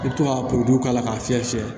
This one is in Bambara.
I bɛ to ka probilɛw k'a la k'a fiyɛ fiyɛ